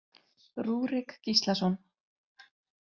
Rúrik Gíslason.